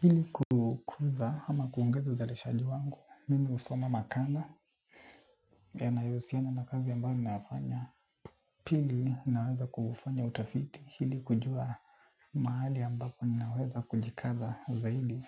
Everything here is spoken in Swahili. Hili kukuza ama kuongeza uzalishaji wangu, mimi husoma makala yanayohusiana na kazi ambayo ninayofanya. Pili naanza kufanya utafiti ili kujua mahali ambapo ninaweza kujikaza zaidi.